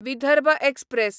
Vidarbha express